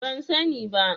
Ban sani ba.